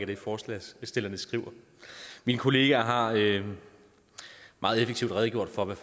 det forslagsstillerne skriver min kollega har meget effektivt redegjort for hvad